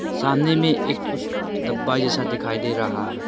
सामने में एक कुछ डब्बा जैसा दिखाई दे रहा है।